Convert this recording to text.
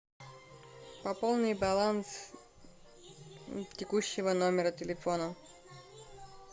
пополни баланс текущего номера телефона